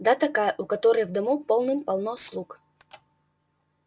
да такая у которой в дому полным-полно слуг